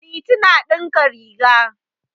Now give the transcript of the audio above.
Liti na ɗinka riga.